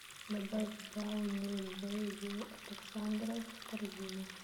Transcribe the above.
добавь брауни б ю александров в корзину